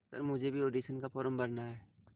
sir मुझे भी audition का फॉर्म भरना है